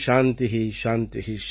சாந்தி சாந்தி